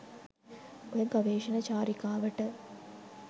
ඔය ගවේශණ චාරිකාවට